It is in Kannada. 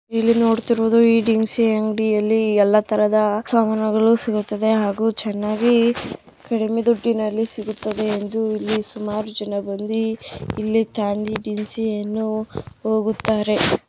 ಇಲ್ಲಿ ನೋಡ್ತಾ ಇರೋದು ದಿನಸಿ ಅಂಗಡಿಯಲ್ಲಿ ಎಲ್ಲ ತರಹದ ಸಾಮಾನುಗಳು ಸಿಗುತ್ತದೆ ಹಾಗು ಚೆನ್ನಾಗಿ ಕಡಿಮೆ ದುಡ್ಡಿನಲ್ಲಿ ಸಿಗುತ್ತದೆ ಎಂದು ಇಲ್ಲಿ ಸುಮಾರು ಜನ ಬಂದು ಇಲ್ಲಿ ತಂದಿ ದಿನಸಿಯನ್ನು ಹೋಗುತ್ತಾರೆ.